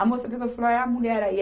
A moça viu falou, ah, é a mulher aí.